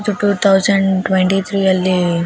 ಇದು two thousand twenty three ಅಲ್ಲಿ --